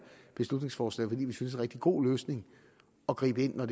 beslutningsforslag fordi vi synes rigtig god løsning at gribe ind når